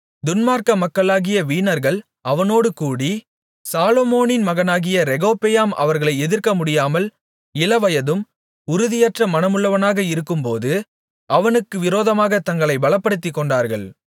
துன்மார்க்க மக்களாகிய வீணர்கள் அவனோடுகூடி சாலொமோனின் மகனாகிய ரெகொபெயாம் அவர்களை எதிர்க்கமுடியாமல் இளவயதும் உறுதியற்ற மனமுள்ளவனாக இருக்கும்போது அவனுக்கு விரோதமாகத் தங்களைப் பலப்படுத்திக்கொண்டார்கள்